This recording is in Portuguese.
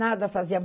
Nada fazia.